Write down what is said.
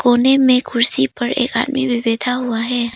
कोने में कुर्सी पर एक आदमी भी बैठा हुआ है।